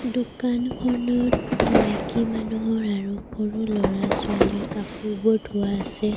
দোকানখনত মাইকী মানুহৰ আৰু সৰু ল'ৰা-ছোৱালীৰ কাপোৰবোৰ থোৱা আছে।